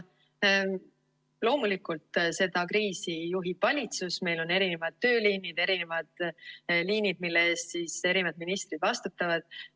Loomulikult, seda kriisi juhib valitsus, meil on erinevad tööliinid, erinevad liinid, mille eest eri ministrid vastutavad.